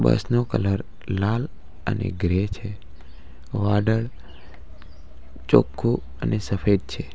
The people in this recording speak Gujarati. બસ નો કલર લાલ અને ગ્રે છે વાદળ ચોખ્ખું અને સફેદ છે.